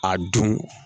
A dun